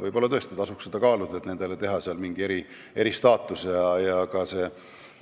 Võib-olla tõesti tasuks seda kaaluda, et teha nendele mingi eristaatus, ja ka see